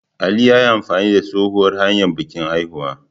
Ali ya yi amfani da tsohuwar hanyar bikin haihuwa.